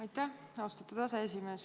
Aitäh, austatud aseesimees!